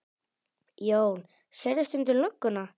Jón: Sérðu stundum lögguna?